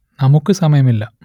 നമുക്ക് സമയമില്ല